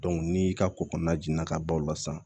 ni ka ko kɔnɔna jiginna ka ban o la san